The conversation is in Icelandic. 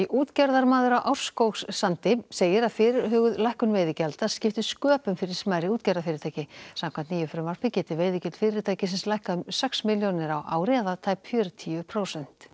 útgerðarmaður á Árskógssandi segir að fyrirhuguð lækkun veiðigjalda skipti sköpum fyrir smærri útgerðarfyrirtæki samkvæmt nýju frumvarpi geti veiðigjöld fyrirtækisins lækkað um sex milljónir á ári eða tæp fjörutíu prósent